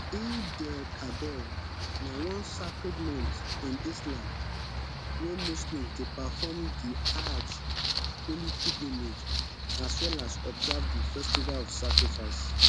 eidelkabir na one sacred month in islam wey muslims dey perform di ajj holy pilgrimage as well as observe di festival of sacrifice